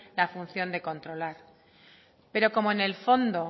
la función de controlar pero como en el fondo